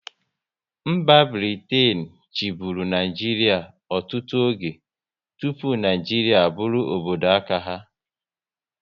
Mba Britain chiburu Naijiria ọtụtụ oge tụpụ Naijiria a bụrụ obodo aka ya